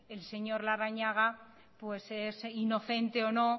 el señor larrañaga pues es inocente o no